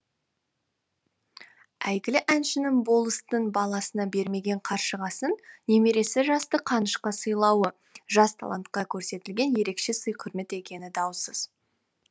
әйгілі әншінің болыстың баласына бермеген қаршығасын немересі жасты қанышқа сыйлауы жас талантқа көрсетілген ерекше сый құрмет екені даусыз